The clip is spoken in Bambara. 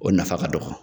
O nafa ka dɔgɔ